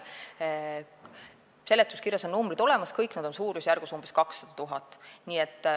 Seletuskirjas on need numbrid olemas, kõik need on suurusjärgus 200 000.